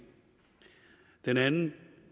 den anden